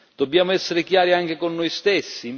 Dobbiamo essere chiari, anche con noi stessi.